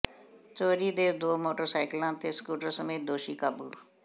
ਚੋਰੀ ਦੇ ਦੋ ਮੋਟਰਸਾਈਕਲਾਂ ਤੇ ਸਕੂਟਰ ਸਮੇਤ ਦੋਸ਼ੀ ਕਾਬੂ